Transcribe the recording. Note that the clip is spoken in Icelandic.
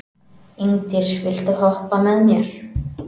Ingdís, viltu hoppa með mér?